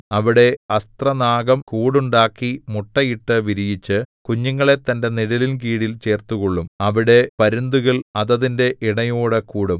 അവിടെ അസ്ത്രനാഗം കൂടുണ്ടാക്കി മുട്ടയിട്ടു വിരിയിച്ചു കുഞ്ഞുങ്ങളെ തന്റെ നിഴലിൻ കീഴിൽ ചേർത്തുകൊള്ളും അവിടെ പരുന്തുകൾ അതതിന്റെ ഇണയോടു കൂടും